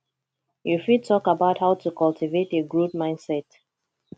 you fit talk about how to cultivate a growth mindset